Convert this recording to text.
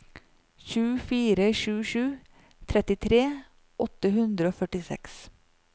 sju fire sju sju trettitre åtte hundre og førtiseks